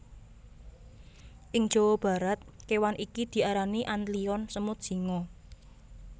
Ing Jawa Barat kewan iki diarani antlion semut singa